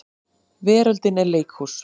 Veröldin er leikhús.